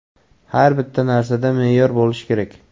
Har bitta narsada me’yor bo‘lishi kerak.